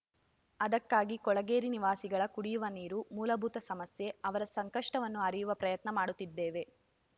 ಅದಕ್ಕಾಗಿ ಕೊಳಗೇರಿ ನಿವಾಸಿಗಳ ಕುಡಿಯುವ ನೀರು ಮೂಲಭೂತ ಸಮಸ್ಯೆ ಅವರ ಸಂಕಷ್ಟವನ್ನು ಅರಿಯುವ ಪ್ರಯತ್ನ ಮಾಡುತ್ತಿದ್ದೇವೆ